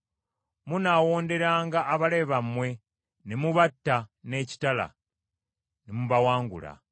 Munaawonderanga abalabe bammwe ne mubatta n’ekitala ne mubawangula.